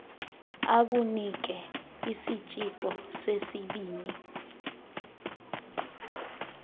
akunike isitshixo sesibini